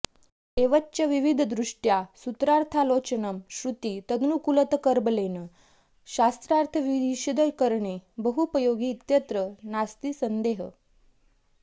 एवञ्च विविधदृष्ट्या सूत्रार्थालोचनं श्रुतितदनुकूलतर्कबलेन शास्त्रार्थविशदीकरणे बहूपयोगि इत्यत्र नास्ति सन्देहः